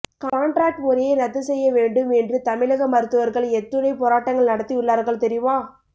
contract முறையை ரத்து செய்ய வேண்டும் என்று தமிழ்க மருத்துவர்கள் எத்துனை போராட்டங்கள் நடத்தியுள்ளார்கள் தெரியுமா